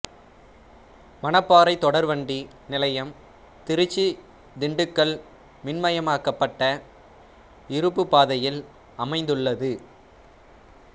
மணப்பாறை தொடர்வண்டி நிலையம் திருச்சி திண்டுக்கல் மின்மயமாக்கப்பட்ட இருப்புப்பாதையில் அமைந்துள்ளது